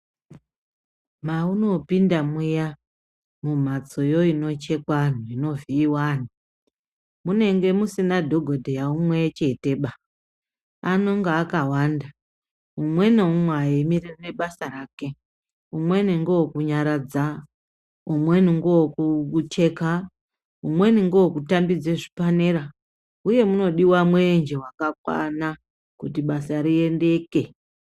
Maunopinda muya mumhatsoyo inochekwa anhu- inovhiyiwa anhu munenge musina dhogodheya umwecheteba! Anonga akawanda. Umwe neumwe eimirira basa rake. Umweni ngewekunyaradza, umweni ngewekucheka, umweni ndewekutambidza zvipanera, uye munodiwa mwenje wakakwana kuti basa riendeke.